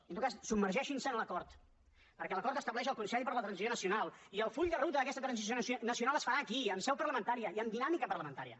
i en tot cas submergeixin se en l’acord perquè l’acord estableix el consell per a la transició nacional i el full de ruta d’aquesta transició nacional es farà aquí en seu parlamentària i amb dinàmica parlamentària